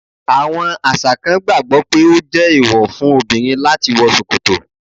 Àwọn àṣà kan gbàgbó pé ọ je èèwọ́ fún obìrin lati wọ ṣòkòtọ̀